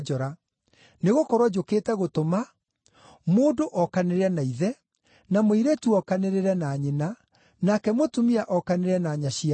Nĩgũkorwo njũkĩte gũtũma “ ‘mũndũ okanĩrĩre na ithe, na mũirĩtu okanĩrĩre na nyina, nake mũtumia okanĩrĩre na nyaciarawe;